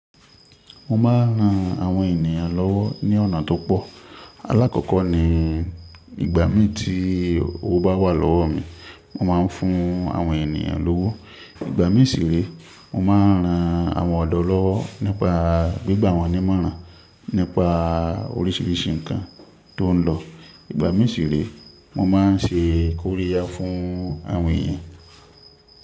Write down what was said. Mo ma ń ran àwọn ènìyàn lọ́wọ́ ní ọ̀nà tó pọ̀. Alákọ̀kọ́ ni ìgbà mí tí o bá wà lọ́wọ́ mi, mo máa ń fún àwọn ènìyàn lówó. Ìgbà mí sì lé, mo ma ń ran àwọn ọ̀dọ́ lọ́wọ́ nípa gbígba àwọn ànímọ́ràn nípa orísìírísìí ǹkan tó ń lọ. Ìgbà mísìrẹ́, mo ma ń se kóríyá fún àwọn ènìyàn.